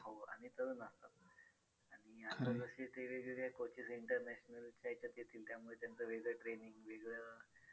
हो आणि तरुण असतात आणि आता जसे ते वेगवेगळ्या coaches international च्या ह्याच्यात येतील त्यामुळे त्यांचं वेगळं training वेगळं